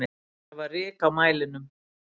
Það var ryk á mælinum.